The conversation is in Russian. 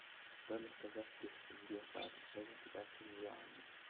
стоимость казахских тенге по отношению к китайскому юаню